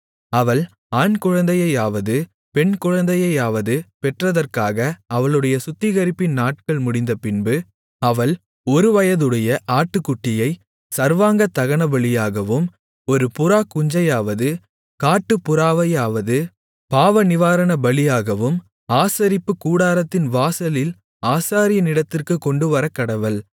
அவள் ஆண்குழந்தையையாவது பெண்குழந்தையையாவது பெற்றதற்காக அவளுடைய சுத்திகரிப்பின் நாட்கள் முடிந்தபின்பு அவள் ஒருவயதுடைய ஆட்டுக்குட்டியை சர்வாங்கதகனபலியாகவும் ஒரு புறாக்குஞ்சையாவது காட்டுப்புறாவையாவது பாவநிவாரணபலியாகவும் ஆசரிப்புக்கூடாரத்தின் வாசலில் ஆசாரியனிடத்திற்குக் கொண்டுவரக்கடவள்